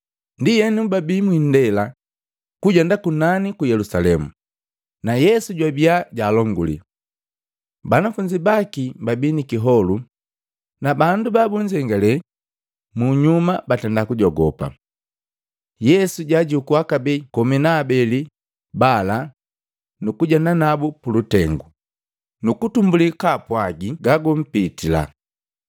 Ndienu, babii mwindela kujenda kunani ku Yelusalemu, na Yesu jwabiya jaalonguli. Banafunzi baki babii nikiholu, na bandu babunzengale munyuma batenda kujogopa. Yesu jaajukua kabee komi na habeli bala nukujendanabu pulutengo, nukutumbuli kaapwagi gagampitila.